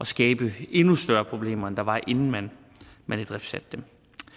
skabe endnu større problemer end der var inden man man idriftsatte dem